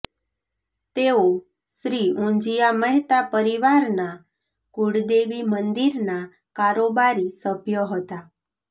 તેઓ શ્રી ઊંજીયા મહેતા પરિવારના કુળદેવી મંદિરના કારોબારી સભ્ય હતા